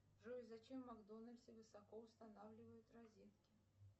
джой зачем в макдональдсе высоко устанавливают розетки